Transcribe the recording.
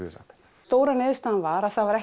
við sagt stóra niðurstaðan var að það var